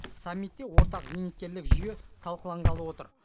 саммитте ортақ зейнеткерлік жүйе талқыланғалы отыр